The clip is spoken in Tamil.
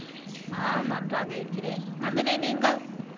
நானும் நன்றாக இருக்கிறேன் நந்தினி நீங்கள்